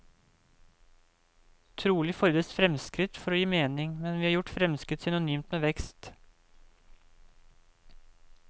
Trolig fordres fremskritt for å gi mening, men vi har gjort fremskritt synonymt med vekst.